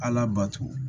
Ala bato